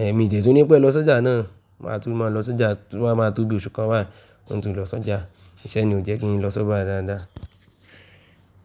Ẹ, mi ò dẹ̀túnipẹ̀ lọ sọ́jà náà, máa tún máa lọ sọ́jà tó bá máa tó bí i oṣù kan báyìí, hin tún lọ sọ́jà. Ìṣẹ́ ni o jẹ́ kí n lọ sobà dáadáa.